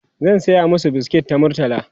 zan saya masu biskit ta murtala